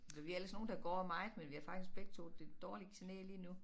Vi er ellers nogle der går meget men vi har faktisk begge 2 det dårligt knæ lige nu